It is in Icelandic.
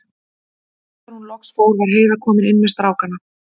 Og þegar hún loksins fór var Heiða komin inn með strákana.